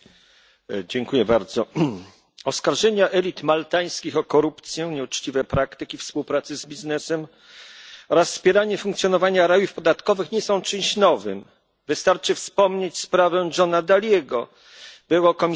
Pani Przewodnicząca! Oskarżenia elit maltańskich o korupcję, nieuczciwe praktyki współpracy z biznesem oraz wspieranie funkcjonowania rajów podatkowych nie są czymś nowym wystarczy wspomnieć sprawę Johna Dalliego, byłego komisarza ds.